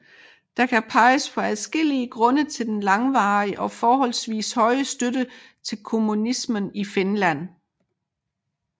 Der kan peges på adskillige grunde til den langvarige og forholdsvis høje støtte til kommunismen i Finland